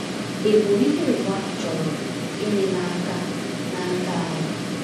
Ịbụ “ìhè ụwa” chọrọ gịnị n’aka n’aka anyị?